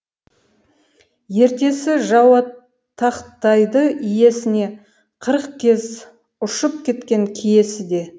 ертесі жаутақтайды иесіне қырық кез ұшып кеткен киесі де